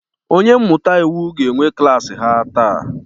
Onye mmụta iwu ga-enwe klaasị ha taa